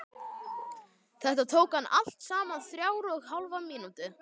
Þetta tók hann allt saman þrjár og hálfa mínútu.